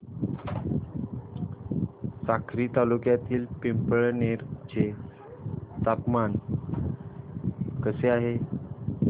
साक्री तालुक्यातील पिंपळनेर चे तापमान कसे आहे